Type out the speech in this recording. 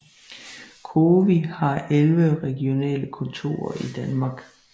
COWI har 11 regionale kontorer i Danmark